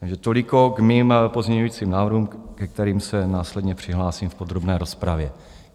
Takže toliko k mým pozměňovacím návrhům, ke kterým se následně přihlásím v podrobné rozpravě.